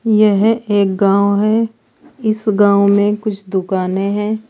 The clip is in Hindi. यह एक गांव है इस गांव में कुछ दुकाने हैं।